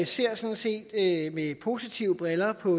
ser sådan set med positive briller på